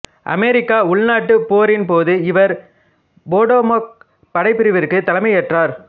அமெரிக்க உள்நாட்டுப் போரின் போது இவர் பொடோமாக் படைப்பிரிவிற்கு தலைமை ஏற்றார்